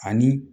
Ani